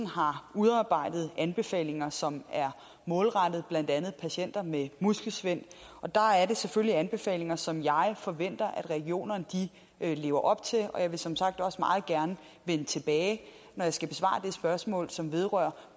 har udarbejdet anbefalinger som er målrettet blandt andet patienter med muskelsvind og det er selvfølgelig anbefalinger som jeg forventer at regionerne lever op til og jeg vil som sagt også meget gerne vende tilbage når jeg skal besvare det spørgsmål som vedrører